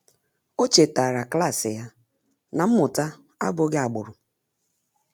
Ọ́ chètàrà klas ya na mmụta ábụ́ghị́ ágbụ́rụ́.